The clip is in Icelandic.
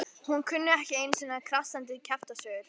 Hún kunni ekki einu sinni krassandi kjaftasögur.